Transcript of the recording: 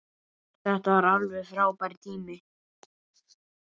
Þetta var alveg frábær tími.